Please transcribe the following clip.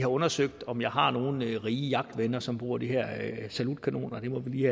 undersøgt om jeg har nogle rige jagtvenner som bruger de her salutkanoner det må vi